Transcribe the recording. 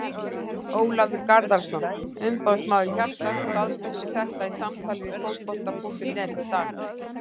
Ólafur Garðarsson, umboðsmaður Hjartar staðfesti þetta í samtali við Fótbolta.net í dag.